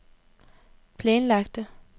planlagte